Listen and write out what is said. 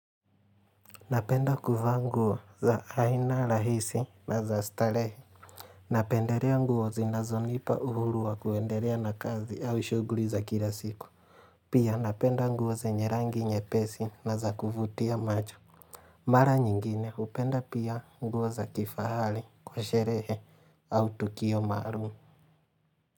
Napenda kuvaa nguo za aina rahisi na za starehe Napendelea nguo zinazonipa uhuru wa kuendelea na kazi au shughuli za kila siku Pia napenda nguo zenye rangi nyepesi na za kuvutia macho Mara nyingine hupenda pia nguo za kifahari kwa sherehe au tukio maalum.